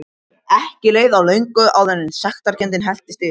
Ekki leið á löngu áður en sektarkenndin helltist yfir mig.